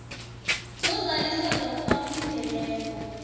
nozalisa lokho akulindeleko